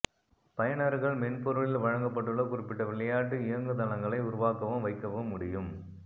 பயனர்கள் மென்பொருளில் வழங்கப்பட்டுள்ள குறிப்பிட்ட விளையாட்டு இயங்குதளங்களை உருவாக்கவும் வைக்கவும் முடியும்